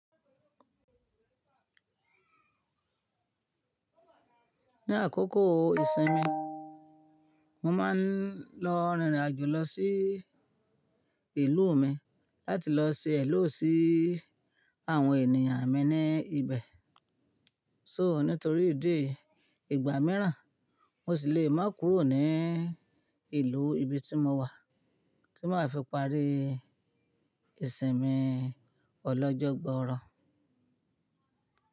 Ní àkókò ìsinmi, mo máa ń lọ rìnrìn àjò lọ sí ìlú mi láti lọ ṣe ẹ̀lọ́ sí àwọn ènìyàn mi ní ibẹ̀. So nítorí ìdí ìgbà mìíràn, mo sì lè má kúrò ní ìlú ibi tí mo wà tí maá fi parí ìsinmi ọlọ́jọ́ gbọọrọ.